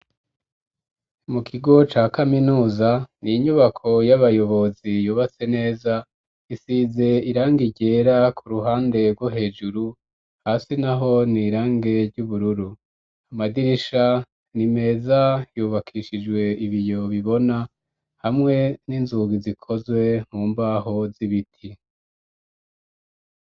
Mu kigo ca kaminuza ni inyubako y'abayobozi yubatse neza, isize irange igera ku ruhande rwo hejuru, hasi naho ni irangi ry'ubururu. Amadirisha ni meza yubakishijwe ibiyo bibona hamwe n'inzugi zikozwe numbaho z'ibiti.